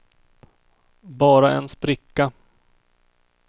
bara en spricka